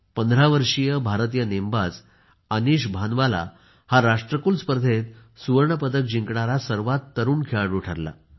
15 वर्षीय भारतीय नेमबाज अनीश भंवर हा राष्ट्रकुल स्पर्धेत सुवर्ण पदक जिंकणारा सर्वांत तरुण खेळाडू ठरला